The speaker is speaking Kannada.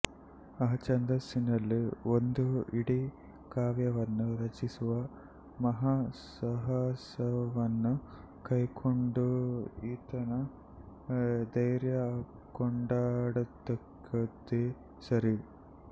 ಆ ಛಂದಸ್ಸಿನಲ್ಲಿ ಒಂದು ಇಡೀ ಕಾವ್ಯವನ್ನು ರಚಿಸುವ ಮಹಾ ಸಾಹಸವನ್ನು ಕೈಕೊಂಡ ಈತನ ಧೈರ್ಯ ಕೊಂಡಾಡತಕ್ಕದ್ದೇ ಸರಿ